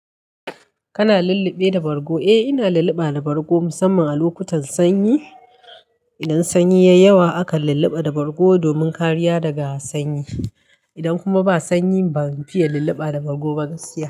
Kana lullube da bargo? Eh, ina lulluba da bargo musamman a lokutan sanyi. Idan sanyi ya yi yawa aka lulluba da bargo domin kariya daga sanyi. Idan kuma ba sanyi ban fiye lullubabda bargo ba gaskiya.